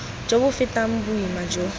jo bo fetang boima jo